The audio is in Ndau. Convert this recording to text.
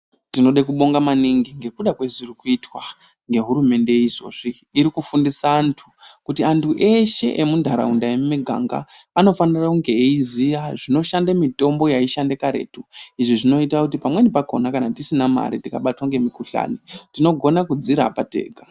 Tinoda kubonga maningi ngekuda ngezviri kuitwa ngehurumende izvozvi iri kufundisa anthu kuti anthu eshe emuntharaunda yemiganga anofanira kunge eiziya zvinoshande mitombo yaishanda karetu izvo zvinoita kuti pamweni pakona kana tisina mare tikabatwa ngemikuhlani tinogona kudzirapa tega.